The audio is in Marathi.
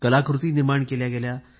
कलाकृती निर्माण केल्या गेल्या